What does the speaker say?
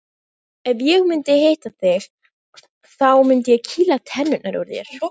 Ef ég myndi hitta þig þá myndi ég kýla tennurnar úr þér.